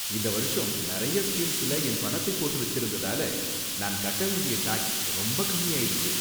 இந்த வருஷம் நிறைய ஸ்கீம்ல என் பணத்தை போட்டு வச்சிருந்ததால, நான் கட்ட வேண்டிய டாக்ஸ் ரொம்ப கம்மியாயிடுச்சு.